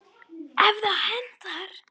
ef það hentar!